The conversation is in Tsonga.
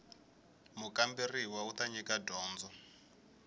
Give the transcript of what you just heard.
mukamberiwa u ta nyika dyondzo